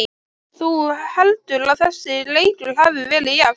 Þú heldur að þessi leikur hafi verið jafn?